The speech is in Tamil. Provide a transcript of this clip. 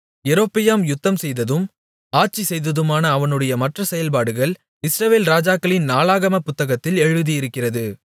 யெரொபெயாம் யுத்தம்செய்ததும் ஆட்சி செய்ததுமான அவனுடைய மற்ற செயல்பாடுகள் இஸ்ரவேல் ராஜாக்களின் நாளாகமப் புத்தகத்தில் எழுதியிருக்கிறது